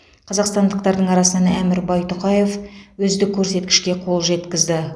қазақстандықтардың арасынан әмір байтұқаев үздік көрсеткішке қол жеткізді